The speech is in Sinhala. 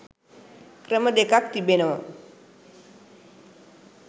ක්‍රම දෙකක් තිබෙනවා